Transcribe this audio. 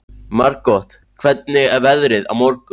Margot, hvernig er veðrið á morgun?